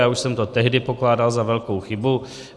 Já už jsem to tehdy pokládal za velkou chybu.